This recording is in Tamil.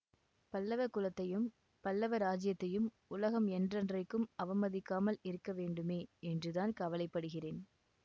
பல்லவ குலத்தையும் பல்லவ இராஜ்யத்தையும் உலகம் என்றென்றைக்கும் அவமதிக்காமல் இருக்க வேண்டுமே என்றுதான் கவலைப்படுகிறேன்